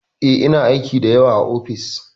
Eh, ina aiki da yawa a ofis.